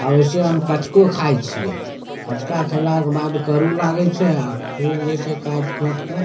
वैसे हम कचको खाय छीये कचका खेला के बाद करू लागे छै अ खूब जे छै काएट खोट के --